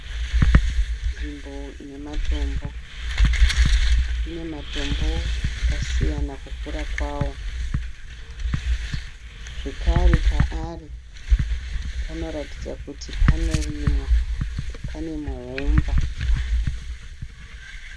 Nzimbo ine matombo. Ine matombo akasiyana kukura kwawo zvekare paari panoratidza kuti panorimwa panemuhomba